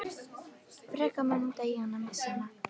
Frekar mun hún deyja en að missa hana.